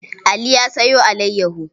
Ali ya sayo alayyaho.